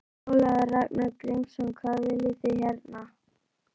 Ólafur Ragnar Grímsson: Hvað viljið þið hérna?